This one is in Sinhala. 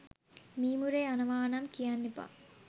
මීමුරේ යනවා නම් කියන්න එපා